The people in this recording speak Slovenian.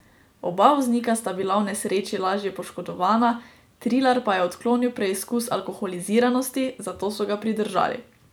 Oba voznika sta bila v nesreči lažje poškodovana, Trilar pa je odklonil preizkus alkoholiziranosti, zato so ga pridržali.